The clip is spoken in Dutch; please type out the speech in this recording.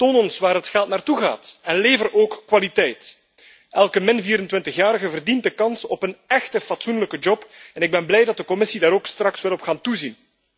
Toon ons waar het geld naartoe gaat en lever ook kwaliteit. Elke 24 jarige verdient de kans op een echte, fatsoenlijke baan en ik ben blij dat de Commissie daar straks ook op wil gaan toezien.